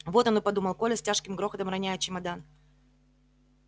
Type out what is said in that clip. вот оно подумал коля с тяжким грохотом роняя чемодан